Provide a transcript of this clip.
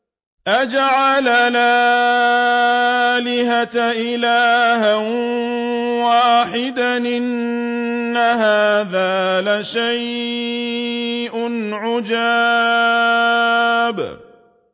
أَجَعَلَ الْآلِهَةَ إِلَٰهًا وَاحِدًا ۖ إِنَّ هَٰذَا لَشَيْءٌ عُجَابٌ